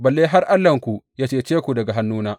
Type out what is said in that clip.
Balle har Allahnku yă cece ku daga hannuna!